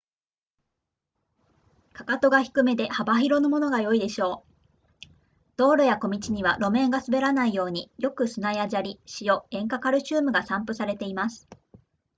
踵が低めで幅広のものが良いでしょう道路や小道には路面が滑らないようによく砂や砂利塩塩化カルシウムが散布されています